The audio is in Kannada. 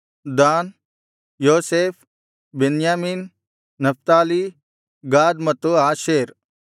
ದಾನ್ ಯೋಸೇಫ್ ಬೆನ್ಯಾಮೀನ್ ನಫ್ತಾಲಿ ಗಾದ್ ಮತ್ತು ಆಶೇರ್